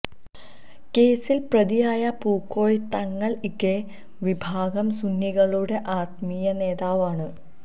കേസിൽ പ്രതിയായ പൂക്കോയ തങ്ങൾ ഇകെ വിഭാഗം സുന്നികളുടെ ആത്മീയ നേതാവാണ്